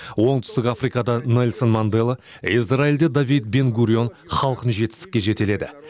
оңтүстік африкада нельсон мандела изралиьде давид бен гурион халқын жетістікке жетеледі